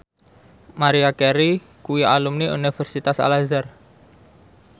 Maria Carey kuwi alumni Universitas Al Azhar